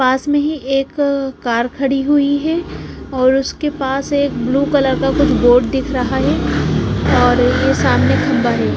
पास में ही एक कार खड़ी हुई हैऔर उसके पास एक ब्लू कलर का कुछ बोर्ड दिख रहा है और ये सामने खम्बा है।